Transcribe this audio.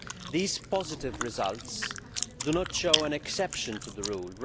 These positive results do not form an exception to the rule